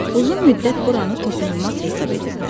Uzun müddət buranı toxunulmaz hesab ediblər.